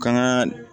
Kan ka